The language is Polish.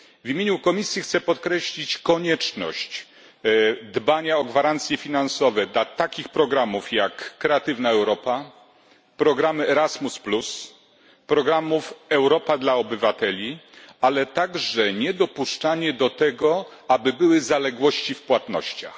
W imieniu komisji chcę podkreślić konieczność dbania o gwarancje finansowe dla takich programów, jak Kreatywna Europa, Erasmus, Europa dla obywateli, ale także niedopuszczanie do tego, aby były zaległości w płatnościach.